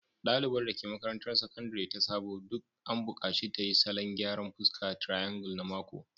Dalibar da ke makarantar Sakandare ta Sabo duk an bukaci ta yi salon gyaran fuska triangle na mako